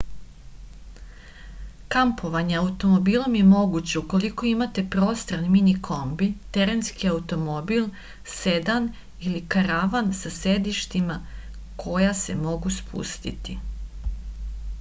kampovanje automobilom je moguće ukoliko imate prostran mini kombi terenski automobil sedan ili karavan sa sedištima koja se mogu spustiti